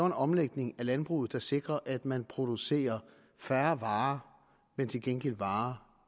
en omlægning af landbruget der sikrer at man producerer færre varer men til gengæld varer